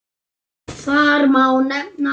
Þar má nefna